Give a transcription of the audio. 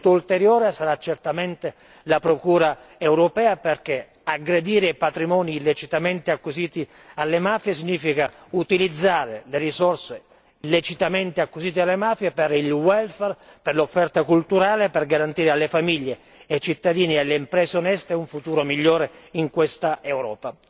Uno strumento ulteriore sarà certamente la procura europea, perché aggredire i patrimoni illecitamente acquisiti alle mafie significa utilizzare le risorse illecitamente acquisite alle mafie per il welfare per l'offerta culturale e per garantire alle famiglie, ai cittadini e alle imprese oneste un futuro migliore in questa Europa.